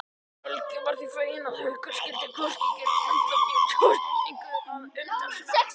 Helgi var því feginn að Haukur skyldi hvorki gera andlát né tortímingu að umtalsefni.